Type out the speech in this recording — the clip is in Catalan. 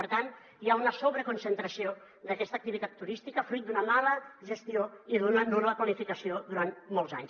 per tant hi ha una sobreconcentració d’aquesta activitat turística fruit d’una mala gestió i d’una nul·la planificació durant molts anys